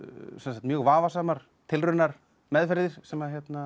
mjög vafasamar tilraunameðferðir sem hán